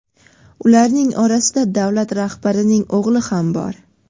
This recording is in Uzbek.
Ularning orasida davlat rahbarining o‘g‘li ham bor.